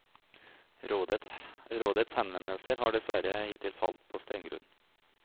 Rådets henvendelser har dessverre hittil falt på stengrunn.